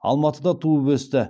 алматыда туып өсті